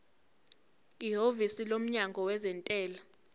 ihhovisi lomnyango wezentela